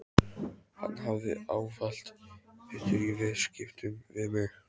Hann hafði ávallt betur í viðskiptum við mig.